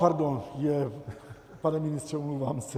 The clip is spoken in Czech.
Pardon, pane ministře, omlouvám se.